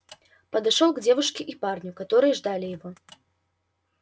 подошёл к девушке и парню которые ждали его